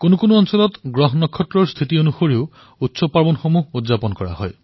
কোনো ক্ষেত্ৰত গ্ৰহ নক্ষত্ৰৰ স্থিতি অনুসৰিও পৰ্ব উৎসৱ পালন কৰা হয়